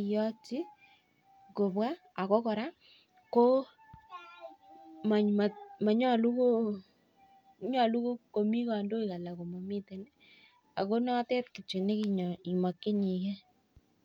iyotchi kobwa ako kora nyolu komi kandoik anan komomitei. Ako notet kitio nemokchinigei.